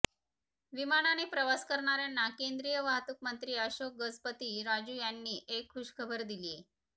विमानाने प्रवास करणाऱ्यांना केंद्रिय वाहतूक मंत्री अशोक गजपती राजू यांनी एक खुशखबर दिलीये